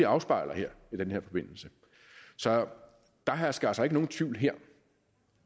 afspejles i den her forbindelse så der hersker altså ikke nogen tvivl her